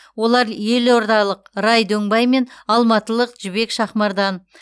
олар елордалық рай дөңбай мен алматылық жібек шахмардан